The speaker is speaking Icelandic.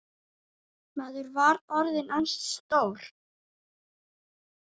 Maður var orðinn ansi stór.